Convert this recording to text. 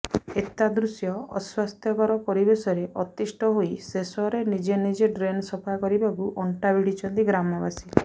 ଏତାଦୃଶ ଅସ୍ୱାସ୍ଥ୍ୟକର ପରିବେଶରେ ଅତିଷ୍ଟ ହୋଇ ଶେଷରେ ନିଜେ ନିଜେ ଡ୍ରେନ୍ ସଫାକରିବାକୁ ଅଣ୍ଟାଭିଡିଛନ୍ତି ଗ୍ରମବାସୀ